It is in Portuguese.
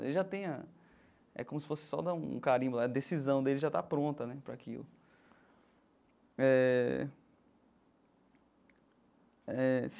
Ele já tem a... É como se fosse só dar um carimbo lá, a decisão dele já está pronta né para aquilo. Eh eh.